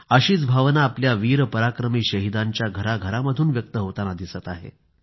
अशीच भावना आपल्या वीर पराक्रमी शहीदांच्या घरा घरांमधून व्यक्त होताना दिसत आहे